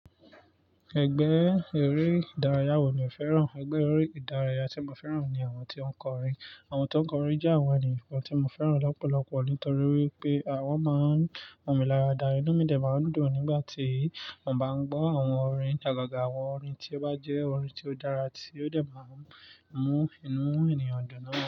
Ẹgbẹ́ eré ìdárayá wo ni o fẹ́ràn? Ẹgbẹ́ eré ìdárayá tí mo fẹ́ràn ni àwọn tí ó ń kọrin. Àwọn tó ń kọrin jẹ́ àwọn ènìyàn tí mo fẹ́ràn lọ́pọ̀lọpọ̀ nítorí wípé wọ́n máa ń mọ̀ mí lára dá. Inú mi dẹ̀ máa ń dùn nígbà tí mo bá ń gbọ́ àwọn orin, àgàgà àwọn orin tí ó bá jẹ́ orin tí ó dára tí ó dẹ̀ máa ń mú inú ènìyàn dùn náà.